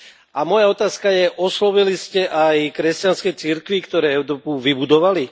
A moja otázka je oslovili ste aj kresťanské cirkvi, ktoré Európu vybudovali?